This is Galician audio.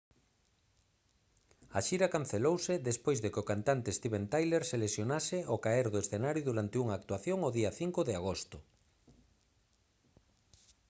a xira cancelouse despois de que o cantante steven tyler se lesionase ao caer do escenario durante unha actuación o día 5 de agosto